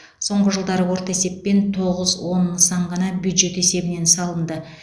соңғы жылдары орта есеппен тоғыз он нысан ғана бюджет есебінен салынды